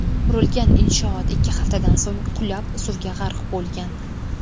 Qurilgan inshoot ikki haftadan so‘ng qulab, suvga g‘arq bo‘lgan .